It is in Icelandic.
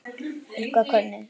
Helga: Hvernig?